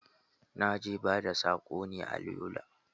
Na je bada sako ne a Yola